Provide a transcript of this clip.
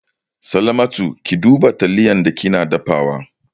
Salamatu, Ki duba taliyar da kike dafawa!